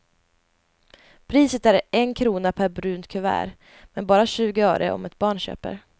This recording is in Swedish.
Priset är en krona per brunt kuvert, men bara tjugo öre om ett barn köper.